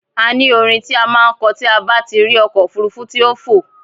A ní orin ti a máà ń kọ tí a bá tí rí ọkọ̀ òfurufú tí ó ń fò.